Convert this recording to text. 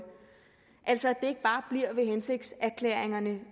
altså ikke bare bliver ved hensigtserklæringerne